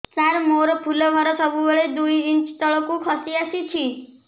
ସାର ମୋର ଫୁଲ ଘର ସବୁ ବେଳେ ଦୁଇ ଇଞ୍ଚ ତଳକୁ ଖସି ଆସିଛି